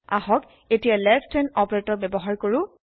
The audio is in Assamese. আহক এতিয়া লেছ থান অপাৰেতৰ ব্যৱহাৰ কৰো